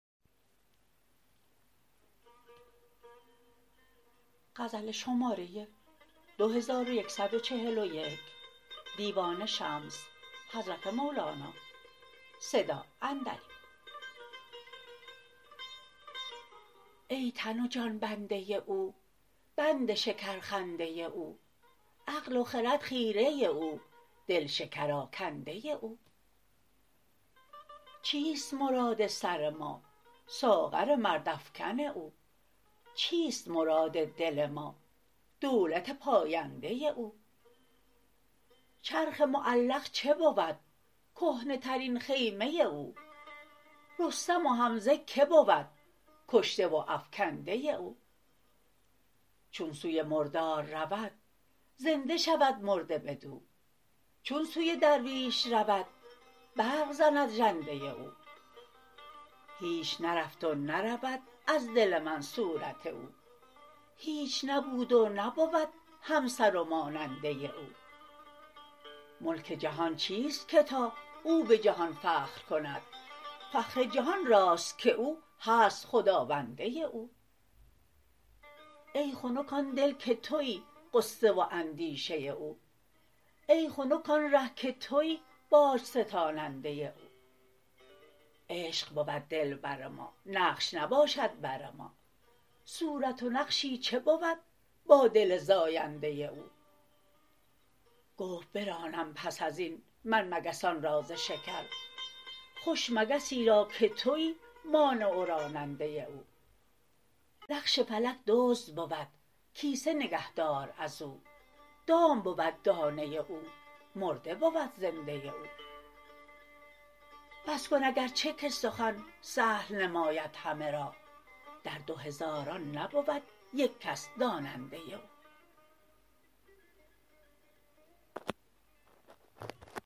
ای تن و جان بنده او بند شکرخنده او عقل و خرد خیره او دل شکرآکنده او چیست مراد سر ما ساغر مردافکن او چیست مراد دل ما دولت پاینده او چرخ معلق چه بود کهنه ترین خیمه او رستم و حمزه کی بود کشته و افکنده او چون سوی مردار رود زنده شود مرد بدو چون سوی درویش رود برق زند ژنده او هیچ نرفت و نرود از دل من صورت او هیچ نبود و نبود همسر و ماننده او ملک جهان چیست که تا او به جهان فخر کند فخر جهان راست که او هست خداونده او ای خنک آن دل که توی غصه و اندیشه او ای خنک آن ره که توی باج ستاننده او عشق بود دلبر ما نقش نباشد بر ما صورت و نقشی چه بود با دل زاینده او گفت برانم پس از این من مگسان را ز شکر خوش مگسی را که توی مانع و راننده او نقش فلک دزد بود کیسه نگهدار از او دام بود دانه او مرده بود زنده او بس کن اگر چه که سخن سهل نماید همه را در دو هزاران نبود یک کس داننده او